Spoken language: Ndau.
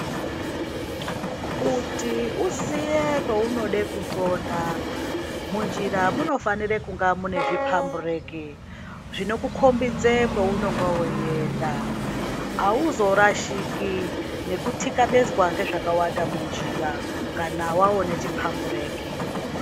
Kuti uziye peunoda kunxonda munjira munofanira kunge mune zvipambureki zvinokukombidze kweunonga weiyenda auzorashiki nekutikabezwa ngezvakawanda munjira kana waone chipambireki.